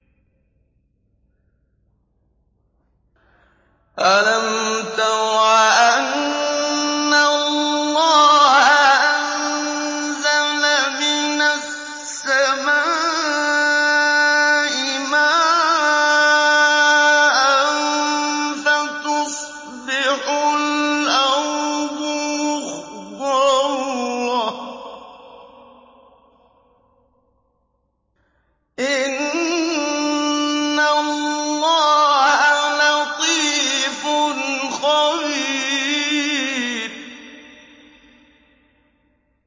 أَلَمْ تَرَ أَنَّ اللَّهَ أَنزَلَ مِنَ السَّمَاءِ مَاءً فَتُصْبِحُ الْأَرْضُ مُخْضَرَّةً ۗ إِنَّ اللَّهَ لَطِيفٌ خَبِيرٌ